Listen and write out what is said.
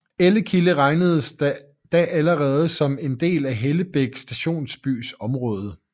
Ellekilde regnedes da allerede som en del af Hellebæk stationsbys område